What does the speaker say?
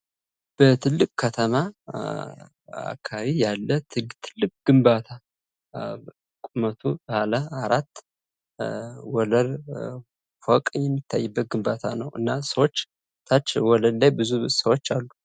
በትልቅ ከተማ አካባቢ ያለትልቅ ግንባታ ቁመቱ በአለአራት ወለል ፎቅ የሚታይበት ግንባታ ነው። ታች ወለል ብዙ ሰዎች አሉ።